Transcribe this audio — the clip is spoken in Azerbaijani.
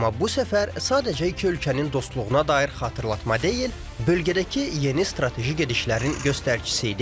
Amma bu səfər sadəcə iki ölkənin dostluğuna dair xatırlatma deyil, bölgədəki yeni strateji gedişlərin göstəricisi idi.